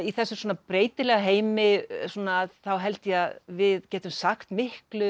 þessum svona breytilega heimi þá held ég að við getum sagt miklu